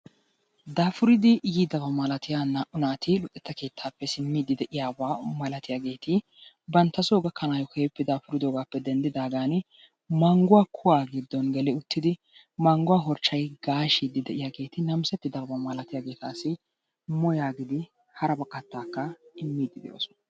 Daafuridi yiidaba malaatiyaa naa''u naati luxetta keettappe simmidi de'iyaaba malatiyaageeti bantta soo gakanayyo keehippe daafuridoogappe denddigaagan mangguwaa kuwaa giddon geli uttidi mangguwa harchchay gaashshidi de'iyaagetussi namissettidaaaba malaltin moo yaagidi hara kattakka immide de'oosona.